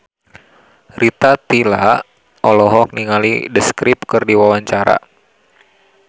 Rita Tila olohok ningali The Script keur diwawancara